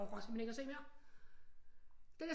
Jeg orker simpelthen ikke at se mere